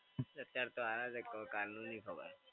અત્યારે તો હારા છે. હવે કાલનું નહીં ખબર.